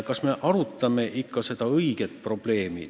Kas me arutame ikka seda põhilist probleemi?